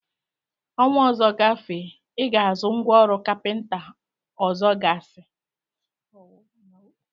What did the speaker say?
Ọnwa ọzọ gafee, I Ga-azụ ngwa ọrụ kapịnta ọzọgasị?